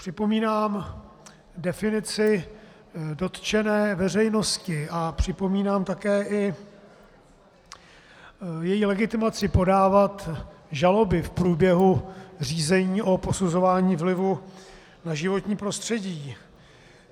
Připomínám definici dotčené veřejnosti a připomínám také i její legitimaci podávat žaloby v průběhu řízení o posuzování vlivů na životní prostředí.